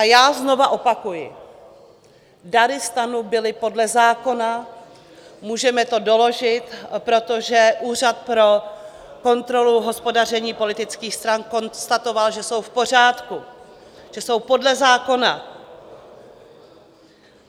A já znovu opakuji - dary STANu byly podle zákona, můžeme to doložit, protože Úřad pro kontrolu hospodaření politických stran konstatoval, že jsou v pořádku, že jsou podle zákona.